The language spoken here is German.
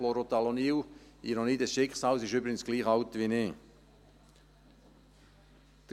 Chlorothalonil – Ironie des Schicksals – ist übrigens gleich alt wie ich.